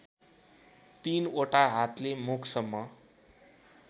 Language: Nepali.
तीनओटा हातले मुखसम्म